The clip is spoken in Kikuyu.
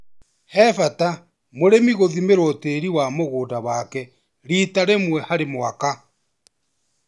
He bata mũrĩmi gūthimĩrwo tĩri wa mũgũnda wake rita rĩmwe harĩ mwaka.